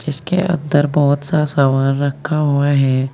इसके अन्दर बहोत सा सामान रखा हुआ है।